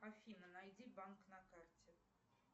афина найди банк на карте